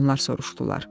Onlar soruşdular.